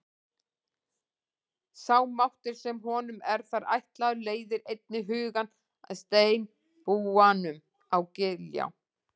Sá máttur sem honum er þar ætlaður leiðir einnig hugann að steinbúanum á Giljá.